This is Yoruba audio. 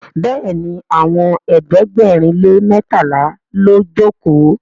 béèni Àwọn ẹ̀ẹ́dẹ̀gbẹ̀rin lè mẹtala ló joko.